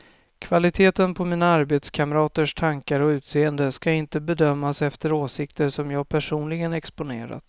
Kvaliteten på mina arbetskamraters tankar och utseende ska inte bedömas efter åsikter som jag personligen exponerat.